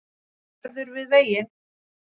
Hann verður við veginn